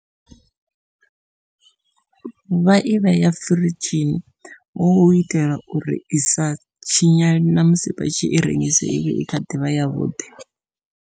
Vha i vheya firidzhini hu itela uri isa tshinyale namusi vha tshi i rengise ivhe i kha ḓivha yavhuḓi.